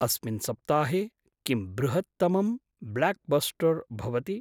अस्मिन् सप्ताहे किं बृहूत्तमं ब्लाक्बस्टर् भवति?